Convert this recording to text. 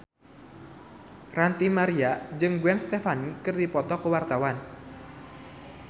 Ranty Maria jeung Gwen Stefani keur dipoto ku wartawan